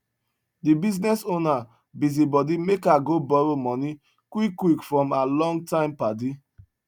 de bisiness owner busi body make her go borrow moni quick quick from her long time padi